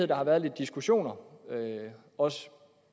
der har været lidt diskussioner også